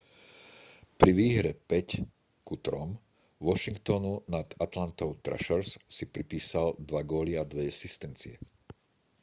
pri výhre 5:3 washingtonu nad atlantou thrashers si pripísal 2 góly a 2 asistencie